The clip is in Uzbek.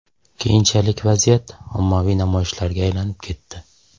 Keyinchalik vaziyat ommaviy namoyishlarga aylanib ketdi.